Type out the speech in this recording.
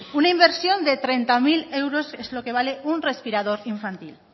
una inversión de treinta mil euros es lo que vale un respirador infantil